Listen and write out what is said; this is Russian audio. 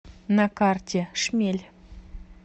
на карте шмель